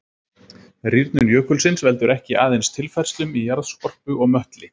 Rýrnun jökulsins veldur ekki aðeins tilfærslum í jarðskorpu og möttli.